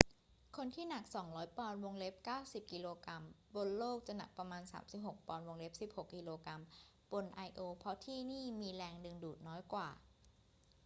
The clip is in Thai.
คนที่หนัก 200 ปอนด์ 90 กก. บนโลกจะหนักประมาณ 36 ปอนด์ 16 กก. บนไอโอ เพราะที่นี่มีแรงดึงดูดน้อยกว่า